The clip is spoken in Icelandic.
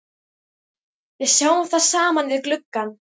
Við sjáum það saman við gluggann.